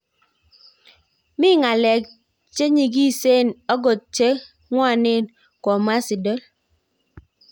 Ngi ngalek cheng nyikiseng okot cheng kwaneng,"komwa Siddle